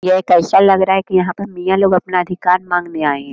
यह एक ऐसा लग रहा है की यहाँ पे मियाँ लोग अपना अधिकार मांगने आए हैं।